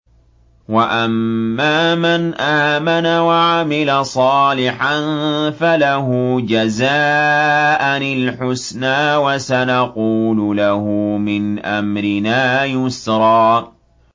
وَأَمَّا مَنْ آمَنَ وَعَمِلَ صَالِحًا فَلَهُ جَزَاءً الْحُسْنَىٰ ۖ وَسَنَقُولُ لَهُ مِنْ أَمْرِنَا يُسْرًا